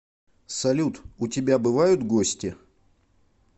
салют у тебя бывают гости